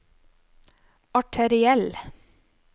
arteriell